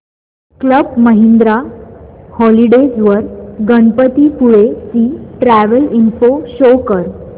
club Mahindra holidays वर गणपतीपुळे ची travel info show कर